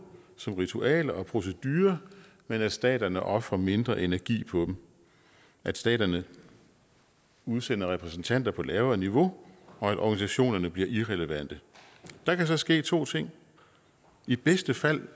som ritualer og procedurer men at staterne ofrer mindre energi på dem at staterne udsender repræsentanter på lavere niveau og at organisationerne bliver irrelevante der kan så ske to ting i bedste fald